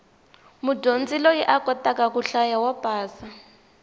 mudyondzi loyi a kotaka ku hlaya wa pasa